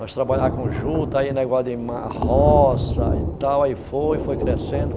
Nós trabalhava com juta, aí negócio de roça e tal, aí foi, foi crescendo.